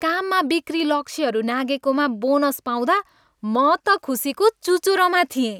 काममा बिक्री लक्ष्यहरू नाघेकोमा बोनस पाउँदा म त खुसीको चुचुरोमा थिएँ।